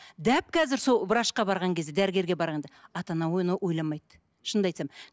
дәп қазір сол врачқа барған кезде дәрігерге барғанда ата ана оны ойламайды шынымды айтсам